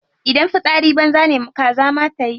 Idan fitsari banza ne kaza ma tayi.